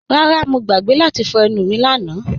Rárá, Mọ̀ gbàgbé láti fọ̀ ènù mí lànà